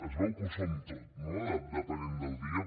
es veu que ho som tot depenent del dia